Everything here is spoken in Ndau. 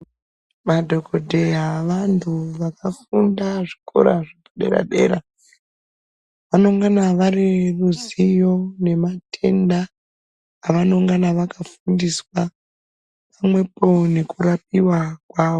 Madhokodheya vantu vakafunda zvikora zvepadera dera. Vanongana vane ruzivo nematenda avonongana vakafundiswa pamwepo nekurapiwa kwawo.